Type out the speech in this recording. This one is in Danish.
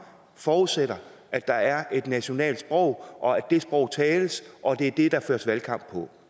forudsætter at der er et nationalt sprog og at det sprog tales og at det er det der føres valgkamp på